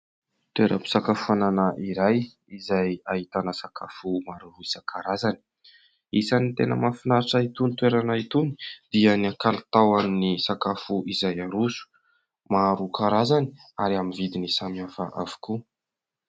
Toeram-pisakafoanana iray izay ahitana sakafo maro isankarazany. Isan'ny tena mafinaritra itony toerana itony dia ny kalitaon'ny sakafo izay aroso: maro karazany ary amin'ny vidiny samy hafa avokoa.